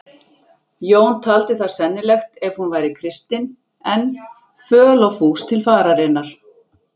Jón taldi það sennilegt ef hún væri kristin enn, föl og fús til fararinnar.